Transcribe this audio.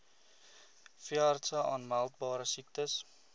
veeartse aanmeldbare siektes